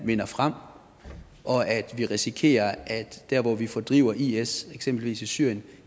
vinder frem og at vi risikerer at dér hvor vi fordriver is eksempelvis i syrien